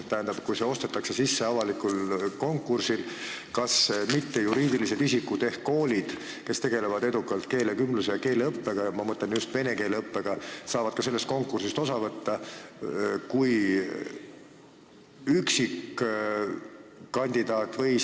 Tähendab, kui see teenus ostetakse sisse avalikul konkursil, siis kas mittejuriidilised isikud ehk koolid, kes tegelevad edukalt keelekümbluse ja -õppega – ma mõtlen just vene keele õppega –, saavad ka sellest konkursist osa võtta kui üksikkandidaadid?